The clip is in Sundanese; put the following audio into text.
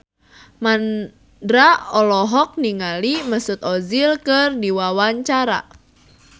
Mandra olohok ningali Mesut Ozil keur diwawancara